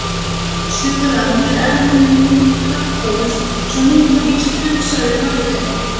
Suðurland er enn kaþólskt, svo mikið er víst, hugsaði Marteinn.